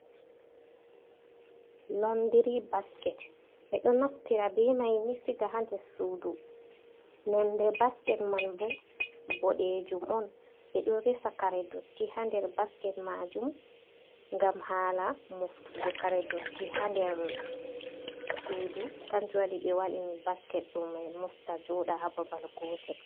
Londiri basket, ɓe ɗo naftira be mai ni siga ha nder sudu, nonde basket man bo boɗejum on, ɓe ɗo.resa kare dotti ha nder basket majum, gam hala moftugo karedotti ha nder sudu, kanjuwaɗi ɓe waɗini basket ɗo ɓe mofta joɗa ha babal gotel.